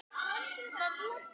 Hún naut þess að syngja.